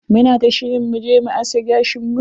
Muna ta shirin mu je mu aske gashin mu.